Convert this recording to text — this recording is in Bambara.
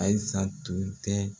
AYISA tun tɛ.